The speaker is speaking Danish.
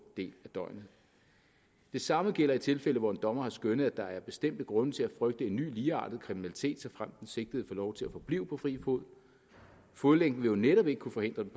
del af døgnet det samme gælder i tilfælde hvor en dommer har skønnet at der er bestemte grunde til at frygte en ny ligeartet kriminalitet såfremt den sigtede får lov til at forblive på fri fod fodlænken vil jo netop ikke kunne forhindre den